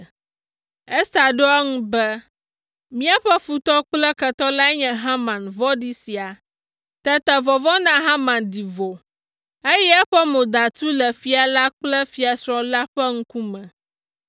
Ester ɖo eŋu be, “Míaƒe futɔ kple ketɔ lae nye Haman vɔ̃ɖi sia.” Tete vɔvɔ̃ na Haman ɖi vo, eye eƒe mo da tu le fia la kple fiasrɔ̃ la ƒe ŋkume.